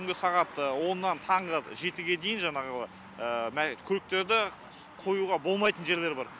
түнгі сағат оннан таңғы жетіге дейін жаңағы көліктерді қоюға болмайтын жерлер бар